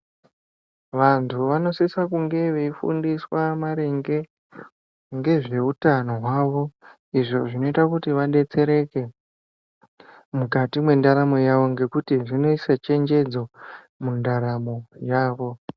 Vantu vanosisa kunge veifundiswa maringe ngezveutano hwawo izvo zvinoita kuti vadetsereke mukati mwendaramo yawo ngekuti zvinoise chenjedzo mundaramo yavo.